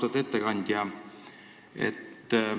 Austatud ettekandja!